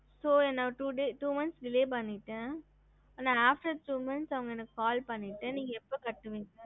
ஹம்